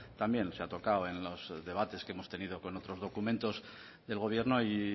también se ha tocado en los debates que hemos tenido con otros documentos del gobierno y